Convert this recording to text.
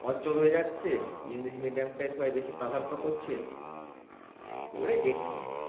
অচল হয়ে যাচ্ছে english medium টাই সবাই বেশি প্রাধান্য করছে এগুলোই দেখছিলাম